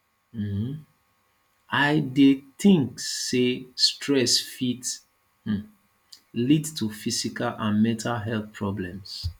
um i dey think say stress fit um lead to physical and mental health problems